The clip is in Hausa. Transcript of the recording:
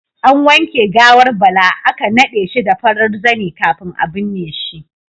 An wanke gawar Bala aka nade shi da farar zane kafin a binne shi.